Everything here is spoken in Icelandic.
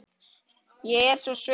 Ég er svo svöng.